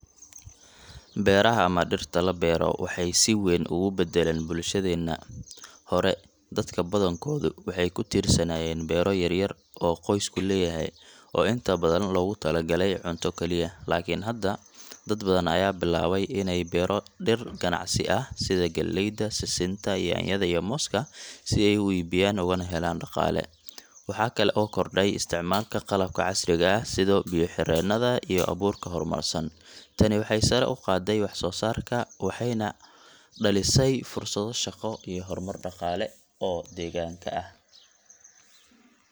Beeraha ama dhirta la beero waxay si weyn ugu beddelaan bulshadeenna. Hore, dadka badankoodu waxay ku tiirsanaayeen beero yaryar oo qoysku leeyahay, oo inta badan loogu talagalay cunto kaliya. Laakiin hadda, dad badan ayaa bilaabay inay beero dhir ganacsi ah sida galleyda, sisinta, yaanyada iyo mooska, si ay u iibiyaan ugana helaan dhaqaale. Waxaa kale oo kordhay isticmaalka qalabka casriga ah sida biyo-xireennada iyo abuurka hormarsan. Tani waxay sare u qaaday wax-soosaarka, waxayna dhalisay fursado shaqo iyo horumar dhaqaale oo deegaanka ah.